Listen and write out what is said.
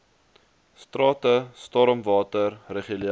strate stormwater regulering